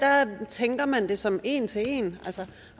tænker man det som en til en altså at